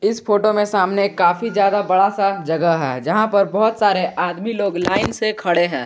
इस फोटो में सामने एक काफी ज्यादा बड़ा सा जगह है जहां पर बहुत सारे आदमी लोग लाइन से खड़े हैं।